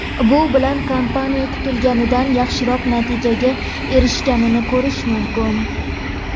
Bu bilan kompaniya kutilganidan yaxshiroq natijaga erishgannini ko‘rish mumkin.